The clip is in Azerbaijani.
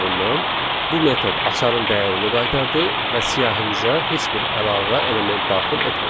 bu metod açarın dəyərini qaytardı və siyahımıza heç bir əlavə element daxil etmədi.